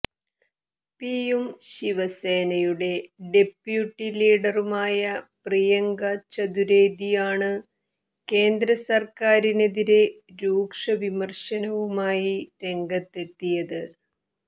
പിയും ശിവസേനയുടെ ഡെപ്യൂട്ടി ലീഡറുമായ പ്രിയങ്ക ചതുര്വേദിയാണ് കേന്ദ്ര സര്ക്കാരിനെതിരെ രൂക്ഷ വിമര്ശനവുമായി രംഗത്തെത്തിയത്